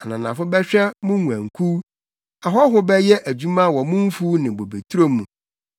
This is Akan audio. Ananafo bɛhwɛ mo nguankuw; ahɔho bɛyɛ adwuma wɔ mo mfuw ne bobeturo mu.